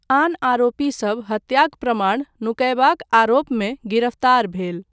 आन आरोपीसब हत्याक प्रमाण नुकयबाक आरोपमे गिरफ्तार भेल।